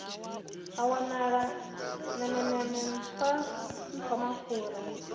ha wanala nemeneme nṱhwa nṱhwamakhura